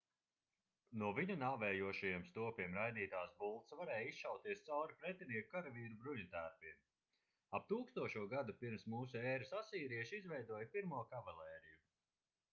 no viņu nāvējošajiem stopiem raidītās bultas varēja izšauties cauri pretinieku karavīru bruņutērpiem ap 1000. gadu p.m.ē. asīrieši izveidoja pirmo kavalēriju